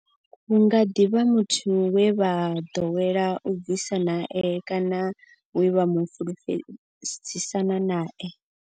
Hu nga ḓi vha muthu we vha ḓowela u ḓibvisa nae kana we vha fhulufhedzisana nae.